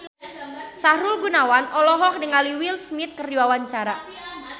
Sahrul Gunawan olohok ningali Will Smith keur diwawancara